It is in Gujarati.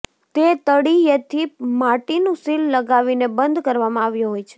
એ તળિયેથી માટીનું સીલ લગાવીને બંધ કરવામાં આવ્યો હોય છે